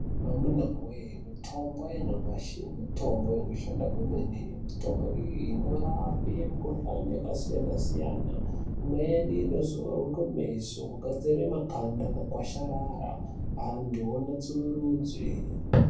Amunawee mitombo yanyamashi mitombo inoshanda kwemene. Mitombo iyi inorape mukhuhane yakasiyana siyana. Imweni inozorwe kumeso kugadzira makanda akakwasharara, antu anatsurudzwe.